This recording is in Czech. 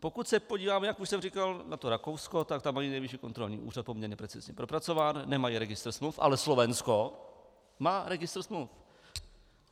Pokud se podíváme, jak už jsem říkal, na to Rakousko, tak tam je nejvyšší kontrolní úřad poměrně precizně propracován, nemají registr smluv, ale Slovensko má registr smluv.